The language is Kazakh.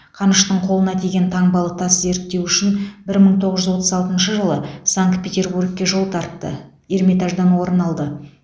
қаныштың қолына тиген таңбалы тас зерттеу үшін бір мың тоғыз жүз отыз алтыншы жылы санкт петербургке жол тартты эрмитаждан орын алды